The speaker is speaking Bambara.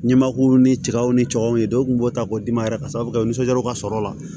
Ɲɛmakulu ni cɛw ni cɛw ye dɔw kun b'o ta k'o d'i ma yɛrɛ ka sababu kɛ u nisɔndiyaw ka sɔrɔ o la